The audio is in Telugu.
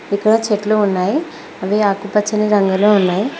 ఇక్కడ చెట్లు ఉన్నాయి అవి ఆకుపచ్చని రంగులో ఉన్నాయి.